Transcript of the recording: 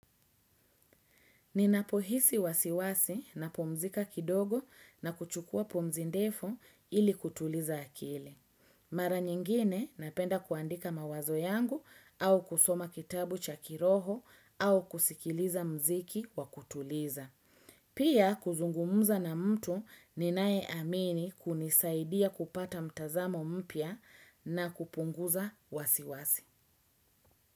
Ninapohisi wasiwasi napumzika kidogo na kuchukua pumzi ndefu ili kutuliza akili. Mara nyingine napenda kuandika mawazo yangu au kusoma kitabu chakiroho au kusikiliza mziki wa kutuliza. Pia kuzungumza na mtu ninayeamini kunisaidia kupata mtazamo mpya na kupunguza wasiwasi.